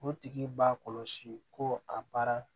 O tigi b'a kɔlɔsi ko a baara